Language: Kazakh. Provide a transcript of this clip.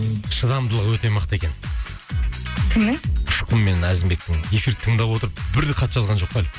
шыдамдылығы өте мықты екен кімнің ұшқын мен әзімбектің эфирді тыңдап отырып бір де хат жазған жоқ қой әлі